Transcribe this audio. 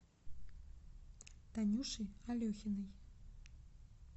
танюши алехиной